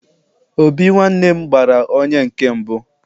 obi nwa nwannem gbara onye nkem mbu